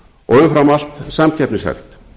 og umfram allt samkeppnishæft